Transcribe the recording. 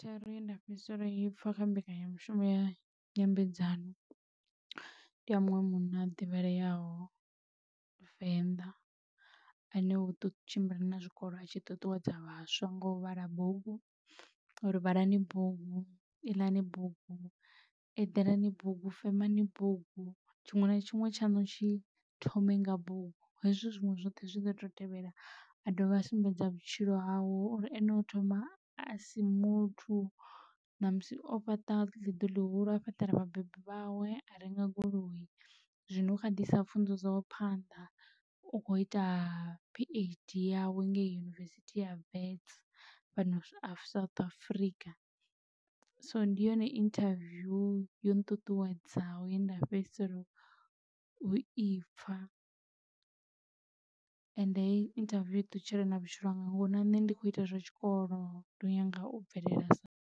Thero yenda fhedzisela u i pfha kha mbekanyamushumo ya nyambedzano ndi a munwe munna a ḓivhaleaho venḓa ane u tshimbila na zwikolo atshi ṱuṱuwedza vhaswa nga u vhala bugu uri vhalani bugu iḽani bugu eḓelani bugu femani bugu tshiṅwe na tshiṅwe tshaṋu tshi thome nga bugu hezwi zwiṅwe zwoṱhe zwi ḓo to tevhela. A dovha a sumbedza vhutshilo hawe uri ene o thoma asi muthu na musi o fhaṱa ḽi ḓu ḽihulu a fhaṱela vhabebi vhawe a renga goloi zwino ukha ḓiisa pfhunzo dzawe phanḓa u kho ita phd yawe ngei yunivesithi ya wits fhano South Africa so ndi yone interview yo nṱuṱuwedzaho ye nda fhedzisela u ipfa ende hei interview iṱutshelana vhutshilo hanga ngori na nṋe ndi kho ita zwa tshikolo ndi nyanga u bvelela sae.